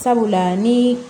Sabula ni